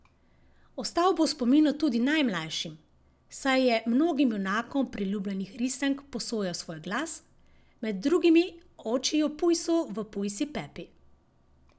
Ostal bo v spominu tudi najmlajšim, saj je mnogim junakom priljubljenih risank posojal svoj glas, med drugimi očiju pujsu v Pujsi Pepi.